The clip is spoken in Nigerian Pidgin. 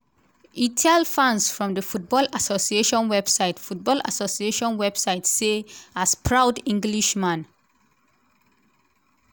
e tell fans from di football association website football association website say as proud englishman